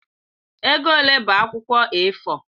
Ego ole bụ akwụkwọ A4?